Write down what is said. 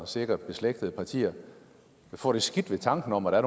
og sikkert beslægtede partier vil få det skidt ved tanken om at